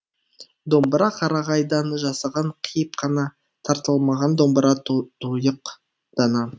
домбыра қарағайдан жасаған қиып қана тартылмаған домбыра тұйық дана